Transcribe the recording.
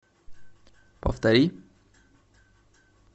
повтори